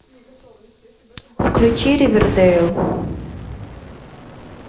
включи ривердейл